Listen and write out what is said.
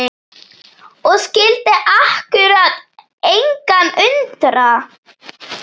Og skyldi akkúrat engan undra!